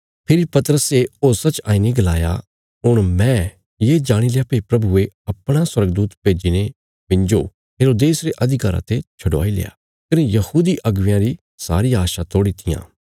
फिर पतरसे होशा च आईने गलाया हुण मैं ये जाणील्या भई प्रभुये अपणा स्वर्गदूत भेज्जीने मिन्जो हेरोदेस रे अधिकारा ते छडवाईल्या कने यहूदी अगुवेयां री सारी आशा तोड़ी तियां